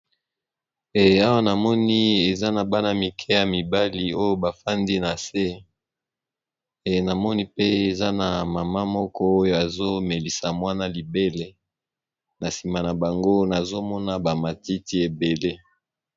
awa namoni eza na bana mike ya mibali oyo bafandi na se namoni pe eza na mama moko oyo azomelisa mwana libele na nsima na bango nazomona bamatiti ebele